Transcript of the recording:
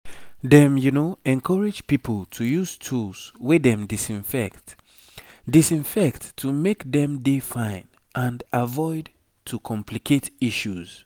children suppose dey check new infections to dey fine and avoid to complicate matter